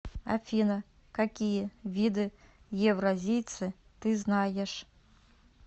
афина какие виды евразийцы ты знаешь